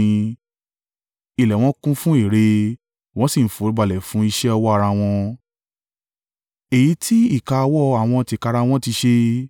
Ilẹ̀ ẹ wọn kún fún ère, wọ́n sì ń foríbalẹ̀ fún iṣẹ́ ọwọ́ ara wọn, èyí tí ìka ọwọ́ àwọn tìkára wọn ti ṣe.